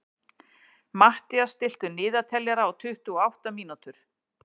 Mathías, stilltu niðurteljara á tuttugu og átta mínútur.